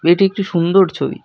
এটি একটি সুন্দর ছবি।